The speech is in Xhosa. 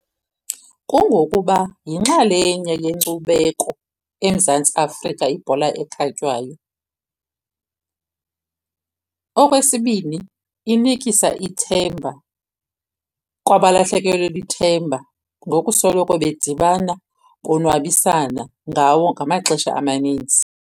Kungokuba yinxalenye yenkcubeko eMzantsi Afrika ibhola ekhatywayo. Okwesibini, inikisa ithemba kwabalahlekelwe lithemba ngokusoloko bedibana, konwabisana ngawo ngamaxesha amaninzi.